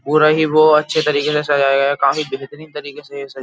हो रही है वो अच्छे तरीके से सजाया काफी बेहतरीन तरीके से ये सजाया --